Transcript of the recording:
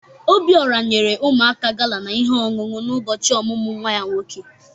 Obiora nyere ụmụaka gala na ihe onunu na ụbọchị ọmụmụ nwa ya nwoke.